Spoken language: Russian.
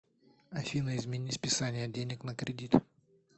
афина измени списание денег на кредит